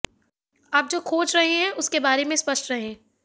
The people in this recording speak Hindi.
आप जो खोज रहे हैं उसके बारे में स्पष्ट रहें